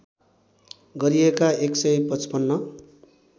गरिएका १ सय ५५